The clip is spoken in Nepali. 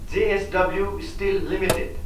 JSW steel Ltd